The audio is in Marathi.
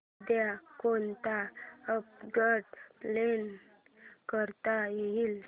उद्या कोणतं अपग्रेड प्लॅन करता येईल